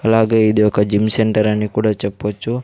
అలాగే ఇది ఒక జిమ్ సెంటర్ అని కూడా చెప్పొచ్చు.